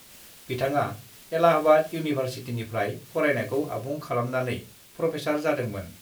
बिथाङा इलाहाबाद इउनिभार्सिटिनिफ्राय फरायनायखौ आबुं खालामनानै प्रफेसार जादोंमोन।